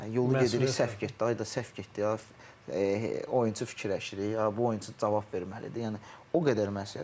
Yolu gedirik səhv getdi, ay da səhv getdi, oyunçu fikirləşirik, bu oyunçu cavab verməlidir, yəni o qədər mən səhv edirəm.